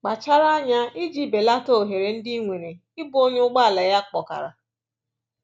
Kpachara anya iji belata ohere ndị i nwere ịbụ onye ụgbọala ya kpọkara.